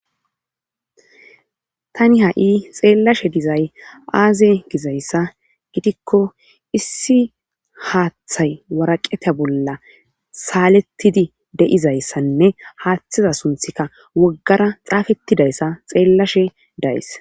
Tani ha7i xeellashe dizay aaze gizayssa gidikko issi haaththay waraqeta bolla saalettidi de7izayssanne haaththiza sunthika woggara xaafettidayssa xeellashe days.